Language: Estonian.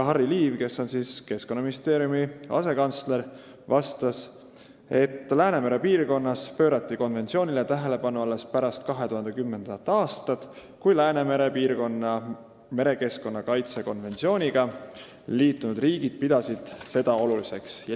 Harry Liiv, kes on Keskkonnaministeeriumi asekantsler, vastas, et Läänemere piirkonnas pöörati konventsioonile tähelepanu alles pärast 2010. aastat, kui Läänemere piirkonna merekeskkonna kaitse konventsiooniga liitunud riigid pidasid seda oluliseks.